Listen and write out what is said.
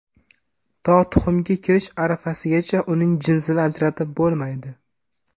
To tuxumga kirish arafasigacha uning jinsini ajratib bo‘lmaydi.